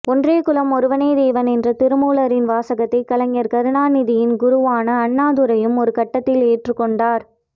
ஒன்றே குலம் ஒருவனே தேவன் என்ற திருமூலரின் வாசகத்தை கலைஞர் கருணாநிதியின் குருவான அண்ணாத்துரையும் ஒருகட்டத்தில் ஏற்றுக் கொண்டார்